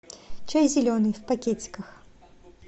чай зеленый в пакетиках